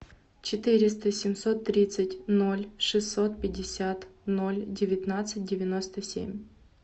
четыреста семьсот тридцать ноль шестьсот пятьдесят ноль девятнадцать девяносто семь